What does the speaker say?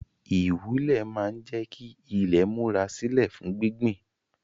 Ìwúlẹ̀ máa ń jẹ́ kí ilé múra sílè fún gbíngbìn